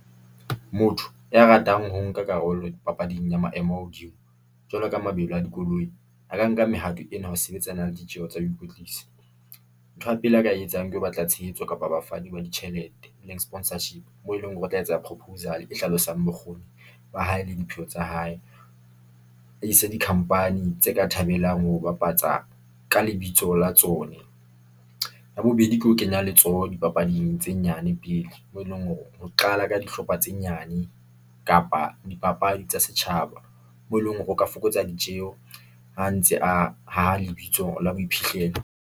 Motho ya ratang ho nka karolo papading ya maemo a hodimo, jwalo ka mabelo a dikoloi, a ka nka mehato ena ho sebetsana le ditjeho tsa ho ikwetlisa. Ntho ya pele a ka e etsang, ke ho batla tshehetso kapa bafani ba ditjhelete e leng sponsorship, moo e leng hore o tla etsa ya proposal e hlalosang bokgoni ba hae le dipheo tsa hae. A ise di-company tse ka thabelang ho bapatsa ka lebitso la tsona. Ya bobedi ke ho kenya letsoho dipapading tse nyane le pele, moo eleng hore ho qala ka dihlopha tse nyane kapa dipapadi tsa setjhaba, moo e leng hore o ka fokotsa ditjeho ha ntse a haha lebitso la boiphihlelo.